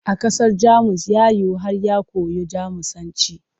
A ƙasar Jamus ya rayu har ya koyo Jamusanci.